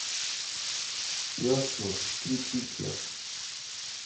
Jasno, tricikle!